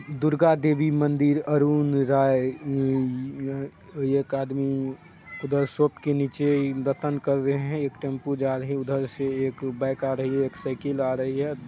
दुर्गा देवी मंदिर अरुण राय एक आदमी उधर शॉप के नीचे दतन कर रहे हैं एक टेंपू जा रहे उधर से एक बाइक आ रही एक साइकिल आ रही हैं।